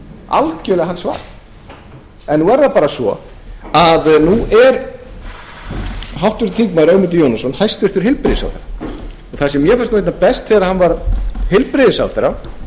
algerlega hans val en nú er það bara svo að nú er háttvirtur þingmaður ögmundur jónasson hæstvirtur heilbrigðisráðherra og það sem mér fannst einna best þegar hann varð heilbrigðisráðherra